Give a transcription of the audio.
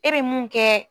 E be mun kɛ